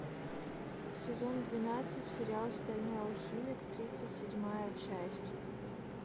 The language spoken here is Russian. сезон двенадцать сериал стальной алхимик тридцать седьмая часть